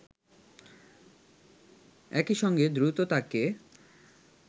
একই সঙ্গে দ্রুত তাকে